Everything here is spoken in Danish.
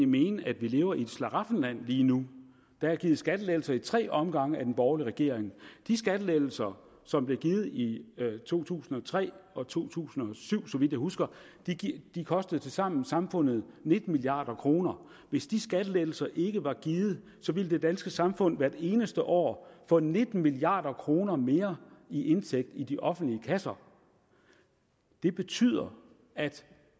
mene at vi lever i et slaraffenland lige nu der er givet skattelettelser i tre omgange af den borgerlige regering de skattelettelser som blev givet i to tusind og tre og to tusind og syv så vidt jeg husker kostede tilsammen samfundet nitten milliard kroner hvis de skattelettelser ikke var givet ville det danske samfund hvert eneste år få nitten milliard kroner mere i indtægt i de offentlige kasser det betyder at